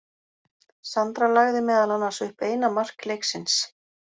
Sandra lagði meðal annars upp eina mark leiksins.